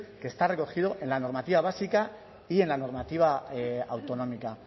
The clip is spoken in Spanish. que está recogido en la normativa básica y en la normativa autonómica